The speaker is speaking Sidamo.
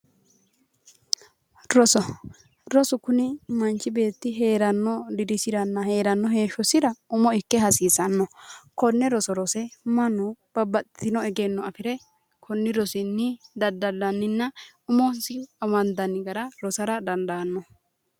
Roso, roso kuni manchi beetti heerano dirisiranna heeshshosira hasiisano, kone rose mannu babbaxxitino egenno afire koni rosinni daddallaninna umosi amandanni gara rosara dandaano.